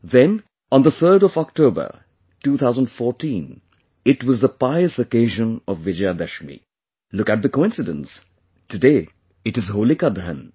Then, on the 3rd of October, 2014, it was the pious occasion of Vijayadashmi; look at the coincidence today it is Holika Dahan